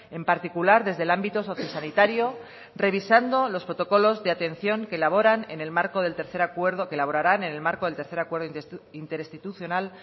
en particular desde el ámbito sociosanitario revisando los protocolos de atención que elaboran en el marco del tercer acuerdo que elaborarán en el marco del tercer acuerdo interinstitucional